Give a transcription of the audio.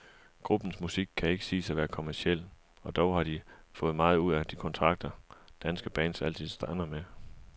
Gruppens musik kan ikke siges at være kommerciel, og dog har de fået meget ud af de kontrakter, danske bands altid strander med.